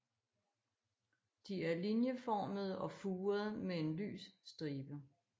De er linjeformede og furede med en lys stribe